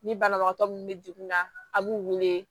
Ni banabagatɔ min bɛ degun na a b'u wele